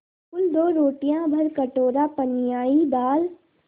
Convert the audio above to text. कुल दो रोटियाँ भरकटोरा पनियाई दाल